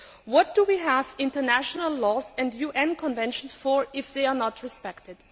What do we have international laws and UN conventions for if they are not respected?